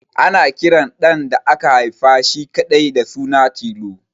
Ana kiran ɗan da aka haifa shi kaɗai da suna Tilo